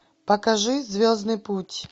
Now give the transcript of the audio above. покажи звездный путь